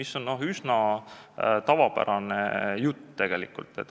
See on üsna tavapärane jutt.